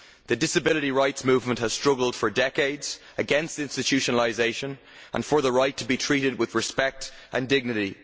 The disability rights movement has struggled for decades against institutionalisation and for the right to be treated with respect and dignity.